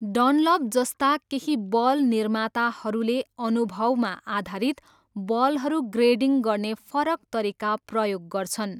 Dunlop जस्ता केही ball निर्माताहरूले अनुभवमा आधारित बलहरू ग्रेडिङ गर्ने फरक तरिका प्रयोग गर्छन्।